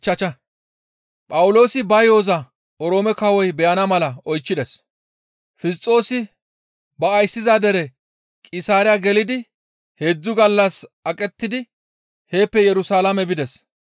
Fisxoosi ba ayssiza dere Qisaariya gelidi heedzdzu gallas aqettidi heeppe Yerusalaame bides.